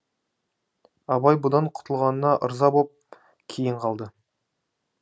абай бұдан құтылғанына ырза боп кейін қалды